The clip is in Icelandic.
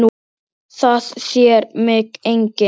Það sér mig enginn.